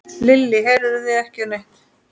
Lillý: Heyrið þið ekki neitt?